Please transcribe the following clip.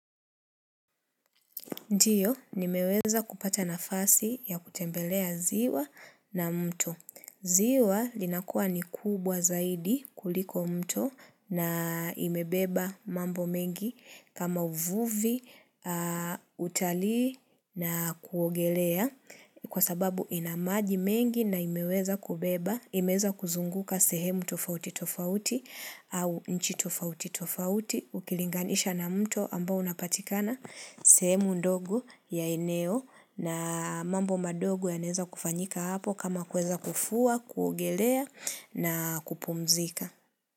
Ndiyo, nimeweza kupata nafasi ya kutembelea ziwa na mto. Ziwa linakuwa ni kubwa zaidi kuliko mto na imebeba mambo mengi kama uvuvi, utalii na kuogelea kwa sababu inamaji mengi na imeweza kubeba, imeweza kuzunguka sehemu tofauti tofauti au nchi tofauti tofauti. Ukilinganisha na mto ambao unapatikana semu ndogo ya eneo na mambo madogo yanaeza kufanyika hapo kama kuweza kufua, kuogelea na kupumzika.